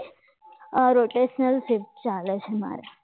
આ rotational shift ચાલે છે મારે